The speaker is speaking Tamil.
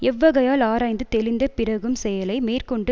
எவ்வகையால் ஆராய்ந்து தெளிந்த பிறகும்செயலை மேற்க்கொண்டு